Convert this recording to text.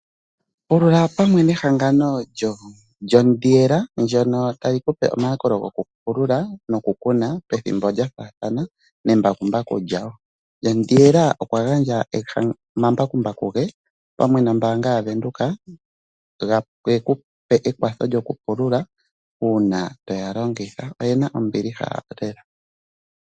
Pulula pamwe nehangano lyoJohn Deere ndyono tali ku pe omayakulo gokupulula nokukuna pethimbo limwe nembakumbaku lyawo. John Deere okwa gandja omambakumbaku ge pamwe nombaanga yaVenduka e ku pe ekwatho lyokupulula uuna to ya longitha. Oye na ombiliha lela.